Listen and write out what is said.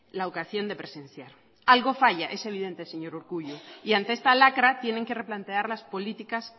la ocasión de presenciar algo falla es evidente señor urkullu y ante esta lacra tienen que replantear las políticas